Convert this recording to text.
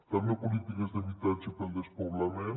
també polítiques d’habitatge contra el despoblament